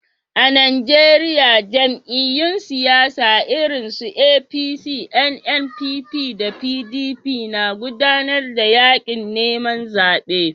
A Najeriya, jam'iyyun siyasa irinsu APC, NNPP, da PDP na gudanar da yaƙin neman zaɓe.